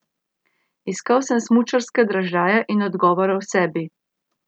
Iskal sem smučarske dražljaje in odgovore v sebi.